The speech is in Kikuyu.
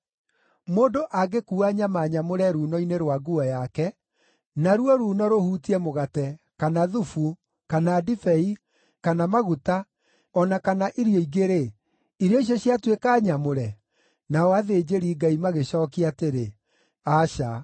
Mũndũ angĩkuua nyama nyamũre ruuno-inĩ rwa nguo yake, naruo ruuno rũhutie mũgate, kana thubu, kana ndibei, kana maguta, o na kana irio ingĩ-rĩ, irio icio ciatuĩka nyamũre?’ ” Nao athĩnjĩri-Ngai magĩcookia atĩrĩ, “Aca.”